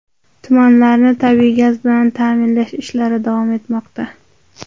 Tumanlarni tabiiy gaz bilan ta’minlash ishlari davom etmoqda.